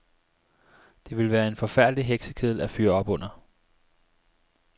Det ville være en forfærdelig heksekedel at fyre op under.